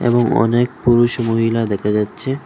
এবং অনেক পুরুষ মহিলা দেখা যাচ্ছে।